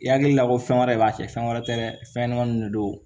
I hakili la ko fɛn wɛrɛ de b'a kɛ fɛn wɛrɛ tɛ dɛ fɛn ɲɛnɛmanin de don